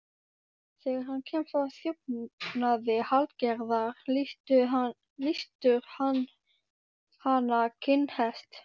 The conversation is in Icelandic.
Þegar hann kemst að þjófnaði Hallgerðar, lýstur hann hana kinnhest.